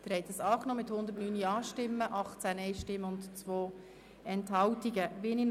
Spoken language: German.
Sie haben den Antrag BiK und Regierungsrat mit 109 Ja- zu 18 Nein-Stimmen und 2 Enthaltungen angenommen.